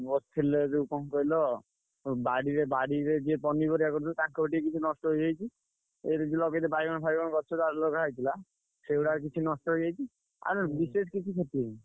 ବସିଥିଲେ ଯୋଉ କଣ କହିଲ? ବାଡିରେ ବାଡିରେ ଯିଏ ପନିପରିବା ତାଙ୍କର ଟିକେ କିଛି ନଷ୍ଟ ହେଇଯାଇଛି ବାଇଗଣ ଫାଇଗଣ ଗଛ ଯାହା ଲଗା ହେଇଥିଲା ସେଇଗୁଡାକ କିଛି ନଷ୍ଟ ହେଇଯାଇଛି ଆଉ ନ ହେଲେ ବିଶେଷ କିଛି କ୍ଷତି ହେଇନି।